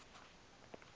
justus von liebig